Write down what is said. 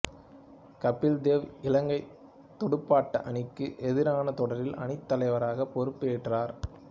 கபில்தேவ் இலங்கைத் துடுப்பாட்ட அணிக்கு எதிரான தொடரில் அணித் தலைவர் பொறுப்பு ஏற்றார்